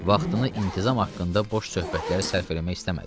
Vaxtını intizam haqqında boş söhbətlərə sərf eləmək istəmədi.